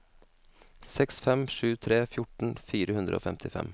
seks fem sju tre fjorten fire hundre og femtifem